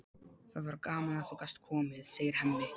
Það var gaman að þú gast komið, segir Hemmi.